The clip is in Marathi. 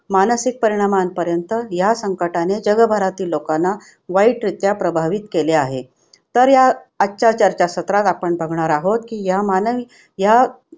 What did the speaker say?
मानसिक परिणामांपर्यंत ह्या संकटाने जगभरातील लोकांना वाईटरित्या प्रभावित केले आहे. तर या आजच्या चर्चासत्रात आपण बघणार आहोत की ह्या मानवी ह्या